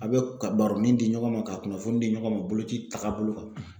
A bɛ ka baro nin di ɲɔgɔn ma ka kunnafoni di ɲɔgɔn ma boloci taagabolo kan;